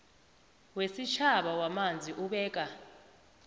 wesitjhaba wamanzi ubeka